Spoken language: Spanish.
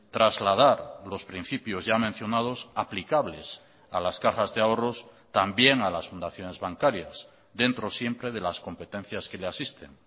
trasladar los principios ya mencionados aplicables a las cajas de ahorros también a las fundaciones bancarias dentro siempre de las competencias que le asisten